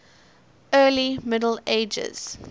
early middle ages